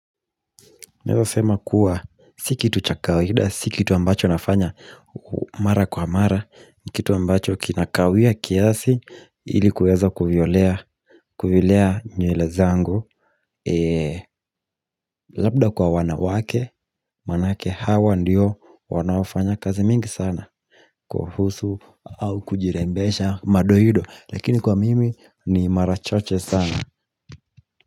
Naweza sema kuwa, si kitu cha kawida, si kitu ambacho nafanya, mara kwa mara, ni kitu ambacho kinakawia kiasi, ili kuweza kuviolea nywele zangu Labda kwa wanawake, maanake hawa ndio wanaofanya kazi mingi sana kuhusu, au kujirembesha madoido, lakini kwa mimi ni mara chache sana.